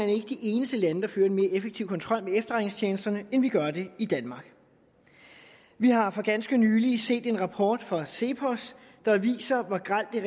er ikke de eneste lande der fører en mere effektiv kontrol med efterretningstjenesterne end vi gør det i danmark vi har for ganske nylig set en rapport fra cepos der viser hvor grelt det